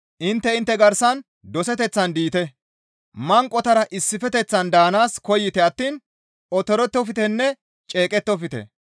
Intte intte garsan doseteththan diite; manqotara issifeteththan daanaas koyite attiin otorettoftenne ceeqettofte.